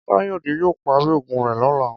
Káyòdé yóò parí ògùn rè lóla